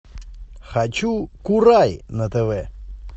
хочу курай на тв